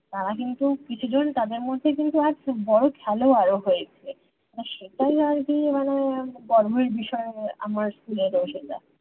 তারা কিন্তু কিছু জন তাদের মধ্যে কিন্তু আজ খুব বড়ো খেলোয়াড় ও হয়েছে সেটাই আর কি মানে গর্বের বিষয় আমার school এরও সেটা